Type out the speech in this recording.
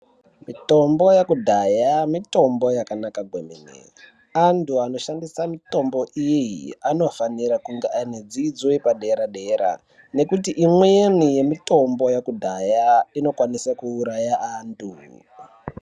Mitombo yekudhaya mitombo yakanaka kwemene antu anoshandisa mutombo iyi anofanira kunge ane dzidzo yepadera dera nekuti imweni yemutombo yekudhaya inokwanisa kuuraya antu.